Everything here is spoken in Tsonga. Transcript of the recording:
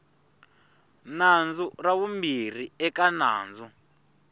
nandzu ra vumbirhi eka nandzu